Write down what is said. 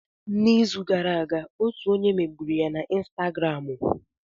N'izu gara aga, otu onye megburu ya na Instagramu.